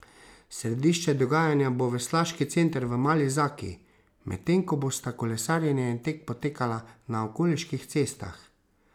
Središče dogajanja bo veslaški center v Mali Zaki, medtem ko bosta kolesarjenje in tek potekala na okoliških cestah.